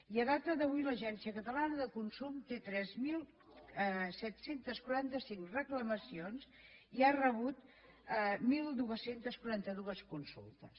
i a data d’avui l’agència catalana de consum té tres mil set cents i quaranta cinc reclamacions i ha rebut dotze quaranta dos consultes